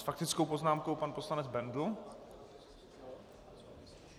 S faktickou poznámkou pan poslanec Bendl.